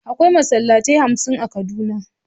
Akwai Masallatai hamsin a kaduna.